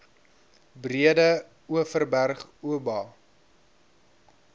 breede overberg oba